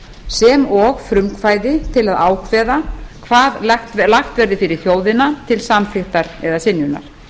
sem og frumkvæði til að ákveða hvað lagt verði fyrir þjóðina til samþykktar eða synjunar